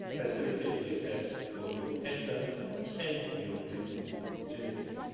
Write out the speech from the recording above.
facilitate the access for new entrants and new business opportunities.